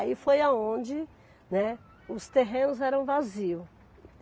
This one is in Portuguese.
Aí foi aonde, né, os terrenos eram vazios.